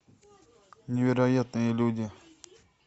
невероятные люди